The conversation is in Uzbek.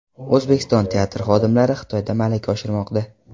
O‘zbekiston teatr xodimlari Xitoyda malaka oshirmoqda.